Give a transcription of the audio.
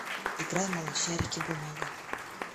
играй малышарики бумага